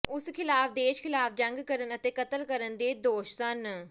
ਉਸ ਖ਼ਿਲਾਫ਼ ਦੇਸ਼ ਖ਼ਿਲਾਫ਼ ਜੰਗ ਕਰਨ ਅਤੇ ਕਤਲ ਕਰਨ ਦੇ ਦੋਸ਼ ਸਨ